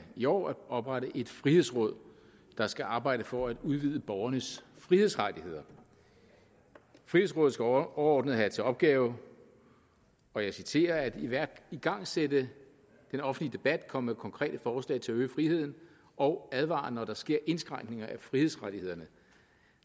i år at oprette et frihedsråd der skal arbejde for at udvide borgernes frihedsrettigheder frihedsrådet skal overordnet have til opgave og jeg citerer at igangsætte den offentlige debat komme med konkrete forslag til at øge friheden og advare når der sker indskrænkninger af frihedsrettighederne